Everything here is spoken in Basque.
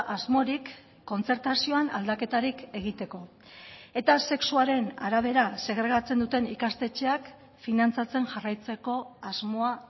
asmorik kontzertazioan aldaketarik egiteko eta sexuaren arabera segregatzen duten ikastetxeak finantzatzen jarraitzeko asmoa